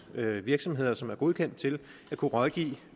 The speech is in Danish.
virksomheder som er godkendt til at kunne rådgive